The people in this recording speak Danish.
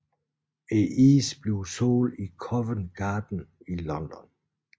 Isen sælges i Covent Garden i London